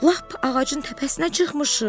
Lap ağacın təpəsinə çıxmışıq.